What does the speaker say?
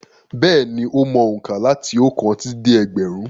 Bẹ́ẹ̀ni, ó mọ òǹkà láti ọ̀kan títí dé ẹgbẹ̀rún.